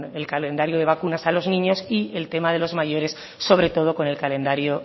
el calendario de vacunas a los niños y el tema de los mayores sobre todo con el calendario